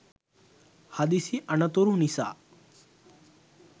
හදිසි අනතුරු නිසා